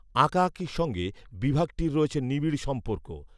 আকাঁআঁকির সঙ্গে বিভাগটির রয়েছে নিবিড় সম্পর্ক